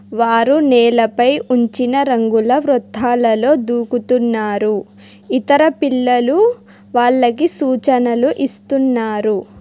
వారు నేలపై ఉంచిన రంగుల వృధాలలో దూకుతున్నారు ఇతర పిల్లలు వాళ్లకు సూచనలు ఇస్తున్నారు.